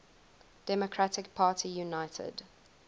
democratic party united